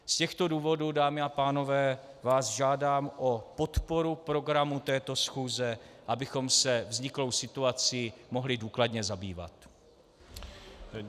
Z těchto důvodů, dámy a pánové, vás žádám o podporu programu této schůze, abychom se vzniklou situací mohli důkladně zabývat.